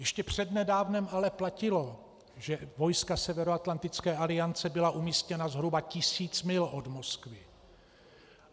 Ještě přednedávnem ale platilo, že vojska Severoatlantické aliance byla umístěna zhruba tisíc mil od Moskvy.